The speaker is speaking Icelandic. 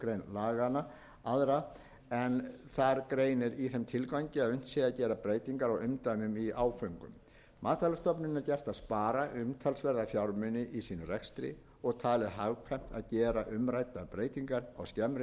laganna aðra en þar greinir í þeim tilgangi að unnt sé að gera breytingar á umdæmum í áföngum matvælastofnun er gert að spara umtalsverða fjármuni í sínum rekstri og talið hagkvæmt að að gera umræddar breytingar á skemmri